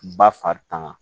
Ba fari tanga